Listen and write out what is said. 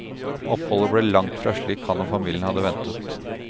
Oppholdet blir langt fra slik han og familien hadde ventet.